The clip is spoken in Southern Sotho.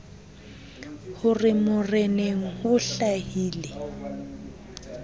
ho re moreneng ho hlahile